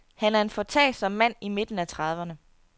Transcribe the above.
Han er en foretagsom mand i midten af trediverne.